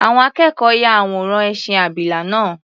Àwọn akẹ́kọ̀ọ́ ya àwòrán ẹṣin abìlà náà.